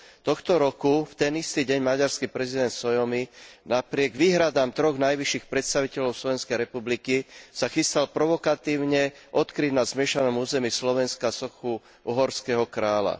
Tohto roku v ten istý deň maďarský prezident Sólyom, napriek výhradám troch najvyšších predstaviteľov Slovenskej republiky, sa chystal provokatívne odkryť na zmiešanom území Slovenska sochu uhorského kráľa.